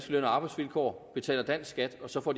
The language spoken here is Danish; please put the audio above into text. løn og arbejdsvilkår og betaler dansk skat også får